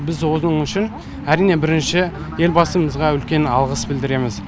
біз осының үшін әрине бірінші елбасымызға үлкен алғыс білдіреміз